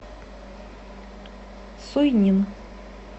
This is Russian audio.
суйнин